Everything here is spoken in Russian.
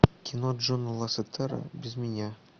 кино джона лассетера без меня